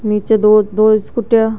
निचे दो दो स्कूटिया --